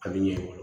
A bɛ ɲɛbɔ